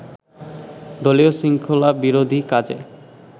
দলীয় শৃঙ্খলাবিরোধী কাজে